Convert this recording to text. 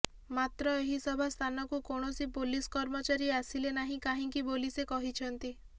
ମାତ୍ର ଏହି ସଭା ସ୍ଥାନକୁ କୌଣସି ପୋଲିସ କର୍ମଚାରୀ ଆସିଲେ ନାହିଁ କାହିଁକି ବୋଲି ସେ କହିଛନ୍ତି